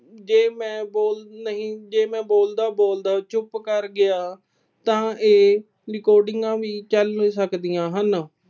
ਜੇੇ ਮੈਂ ਬੋਲ ਨਹੀਂ ਅਹ ਜੇ ਮੈਂ ਬੋਲਦਾ-ਬੋਲਦਾ ਚੁੱਪ ਕਰ ਗਿਆ ਤਾਂ ਇਹ ਰਿਕਾਰਡਿੰਗਾਂ ਵੀ ਚੱਲ ਸਕਦੀਆਂ ਹਨ।